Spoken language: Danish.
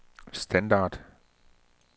standard